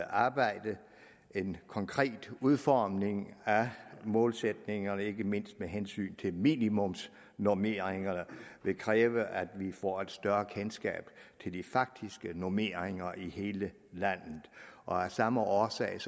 arbejde en konkret udformning af målsætningerne ikke mindst med hensyn til minimumsnormeringerne vil kræve at vi får et større kendskab til de faktiske normeringer i hele landet og af samme årsag